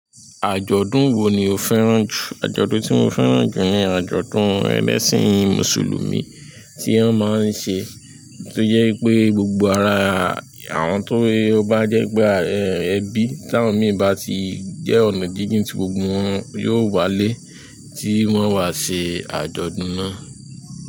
Àjọ̀dún wo ni o fẹ́ràn jù? Àjọ̀dún tí mo fẹ́ràn jù ni àjọ̀dún ẹ̀lẹ́sìn Mùsùlùmí tí wọ́n máa ń ṣe tó jẹ́ pé gbogbo ara àwọn tó bá jẹ́ pé ẹbí táwọn mí bá ti jẹ́ ọ̀nà jíjìn tí gbogbo wọn yóò walé tí wọ́n wá ṣe àjọ̀dún náà.